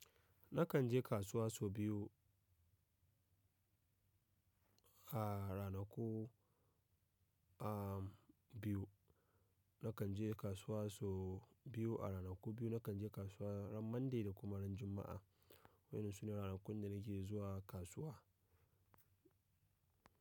Nakan je kasuwa sau biyu, a ranaku, a biyu. Nakan je kasuwa sau biyu a ranaku biyu. Nakan je kasuwa ran Monday da kuma ran Juma'a, waɗannan su ne ranakun da nake zuwa kasuwa.